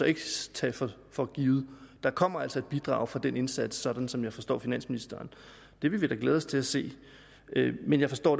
ikke skal tages for givet der kommer altså et bidrag fra den indsats sådan som jeg forstår finansministeren det vil vi da glæde os til at se men jeg forstår